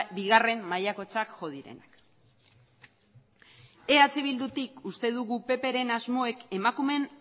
bigarren mailakotzat jo direnak eh bildutik uste dugu ppren asmoek emakumeen